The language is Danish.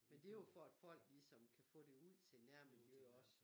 Men det jo for at folk ligesom kan få det ud til nærmiljøer også